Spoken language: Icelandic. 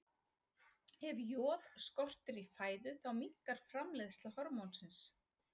Ef joð skortir í fæðu þá minnkar framleiðsla hormónsins.